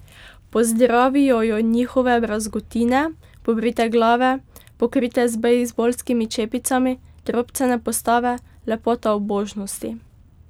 Pozdravijo jo njihove brazgotine, pobrite glave, pokrite z bejzbolskimi čepicami, drobcene postave, lepota ubožnosti.